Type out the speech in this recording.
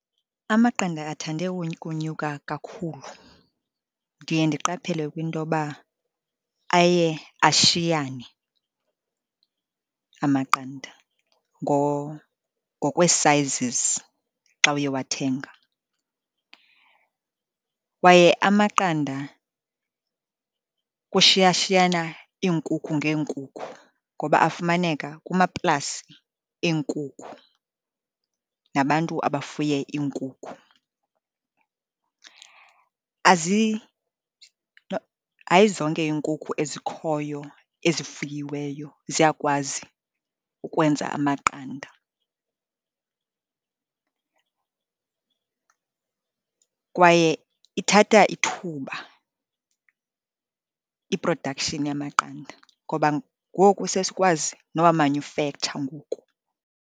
Amaqanda athande ukonyuka kakhulu. Ndiye ndiqaphele kwintoba aye ashiyane amaqanda ngokwee-sizes xa uye wathenga. Kwaye amaqanda kushiyashiyana iinkukhu ngeenkukhu, ngoba afumaneka kumaplasi eenkukhu nabantu abafuye iinkukhu. Hayi zonke iinkukhu ezikhoyo ezifuyiweyo ziyakwazi ukwenza amaqanda, kwaye ithatha ithuba i-production yamaqanda ngoba ngoku sesikwazi nowamanyufektsha ngoku.